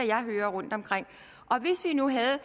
jeg hører rundtomkring hvis vi nu havde